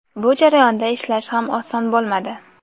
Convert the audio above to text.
Bu jarayonda ishlash ham oson bo‘lmadi.